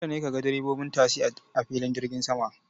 Dole ne kaga direbobin tasi a filin jirgin sama.